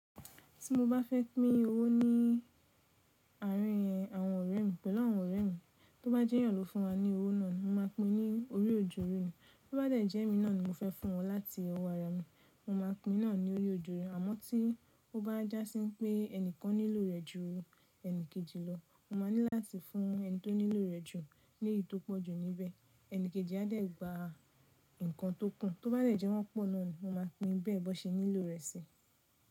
Tí mo bá fẹ́ pín owó ní àárín àwọn ọ̀rẹ́ mi, pẹ̀lú àwọn ọ̀rẹ́ mi, tó bá jẹ́yàn ló fún wa ní owó náà ni mo máa pín ní orí òjò ní. Tó bá de jẹ́ èmi náà ni mo fẹ́ fún wọn láti ọwọ́ ara mi, mo máa pín náà ní orí òjò rí. Àmọ́ tí ó bá jásí wipé ẹnìkan nílò rẹ̀ ju ẹni kejì lọ, mo máa ní láti fún ẹni tó nílò rẹ̀ jù ní èyí tó pọ̀jù níbẹ̀, ẹni kejì yen á dẹ̀ gba nǹkan tó kú. Tó bá de jẹ́ wọ́n pọ̀ náà ni mo máa pín bẹ́ẹ̀ bi wón ṣe nílò rẹ̀ síi.